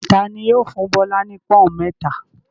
Ta ni yóò fún Bọ́lá ní pọ́ń-ọ̀n mẹ́ta?